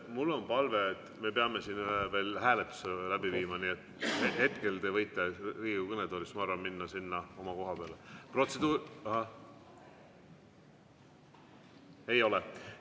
Mul on palve, me peame siin veel ühe hääletuse läbi viima, nii et hetkel te võite Riigikogu kõnetoolist, ma arvan, minna sinna oma koha peale.